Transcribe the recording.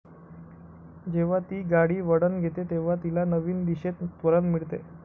जेव्हा ती गाडी वळण घेते तेव्हा तिला नवीन दिशेत त्वरण मिळते.